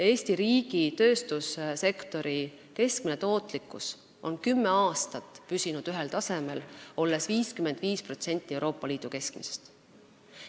Eesti riigi tööstussektori keskmine tootlikkus on kümme aastat püsinud ühel tasemel, olles 55% Euroopa Liidu keskmisest.